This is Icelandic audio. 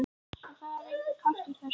En það var enginn kraftur í þessu.